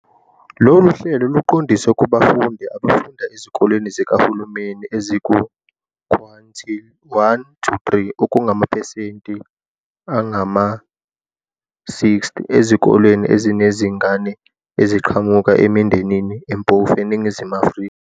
Lolu hlelo luqondiswe kubafundi abafunda ezikoleni zikahulumeni eziku-quintile 1-3, okungamaphesenti angama-60 ezikole ezinezingane eziqhamuka emindenini empofu eNingizimu Afrika.